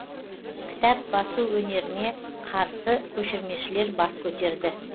кітап басу өнеріне қарсы көшірмешілер бас көтерді